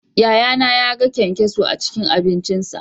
Yayana yaga kyankyaso a cikin abincinsa